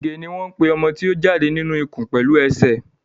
ìgè ní wón pè ọmọ tí o jáde nínú ikùn pẹlú esè.